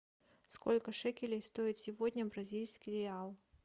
сколько шекелей стоит сегодня бразильский реал